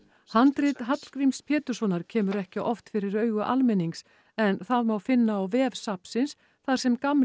handrit Hallgríms Péturssonar kemur ekki oft fyrir augu almennings en það má finna á vef safnsins þar sem gamli